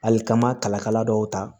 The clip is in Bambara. Hali ka n ma kalakala dɔw ta